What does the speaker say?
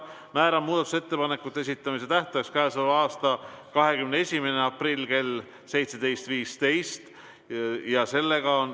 Määran muudatusettepanekute esitamise tähtajaks k.a 21. aprilli kell 17.15.